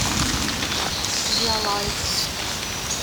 диалайф